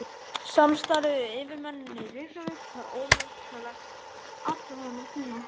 Samstarfið við yfirmennina í Reykjavík var ómetanlegt allan þennan tíma.